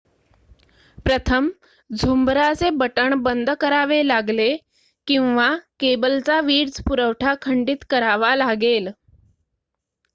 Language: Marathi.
प्रथम झुंबराचे बटण बंद करावे लागले किंवा केबलचा वीजपुरवठा खंडीत करावा लागेल